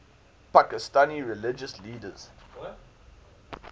pakistani religious leaders